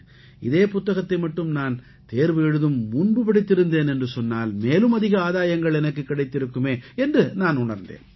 இதே புத்தகத்தை மட்டும் நான் தேர்வு எழுதும் முன்பு படித்திருந்தேன் என்று சொன்னால் மேலும் அதிக ஆதாயங்கள் எனக்குக் கிடைத்திருக்குமே என்று நான் உணர்ந்தேன்